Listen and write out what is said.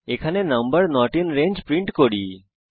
এখানে আমরা number not in range print করি